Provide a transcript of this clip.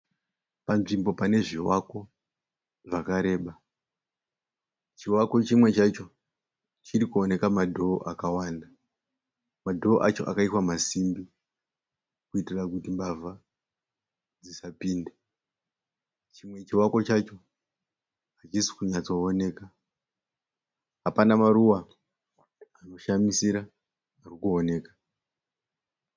Panzvimbo pane zvivako zvakareba. Chivako chimwe chacho chiri kuoneka madhoo akawanda. Madhoo acho akaiswa masimbi kuitira kuti mbavha dzisapinde. Chimwe chivako chacho hachisi kunyatsooneka. Hapana maruva anoshamisira ari kuoneka.